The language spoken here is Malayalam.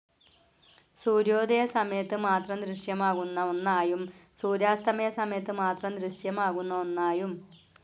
സൂര്യോദയ സമയത്തു മാത്രം ദൃശ്യമാകുന്ന ഒന്നായും സൂര്യാസ്തമയ സമയത്ത് മാത്രം ദൃശ്യമാകുന്ന ഒന്നായും.